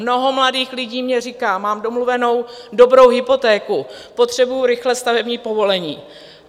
Mnoho mladých lidí mně říká: Mám domluvenou dobrou hypotéku, potřebuji rychle stavební povolení.